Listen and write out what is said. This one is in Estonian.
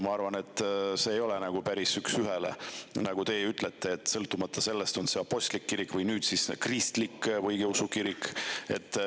Ma arvan, et see ei toimu päris üks ühele, nagu teie ütlete, et ükstapuha, on see apostlik kirik või nagu nüüd siis kristlik õigeusu kirik.